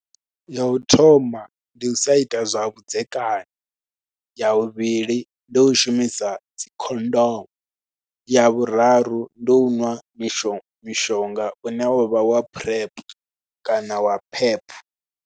Ya u thoma ndi u sa ita zwa vhudzekani, ya vhuvhili ndi u shumisa dzikhondomu, ya vhuraru ndi u nwa mishonga mishonga une wa vha wa PrEP kana wa pep.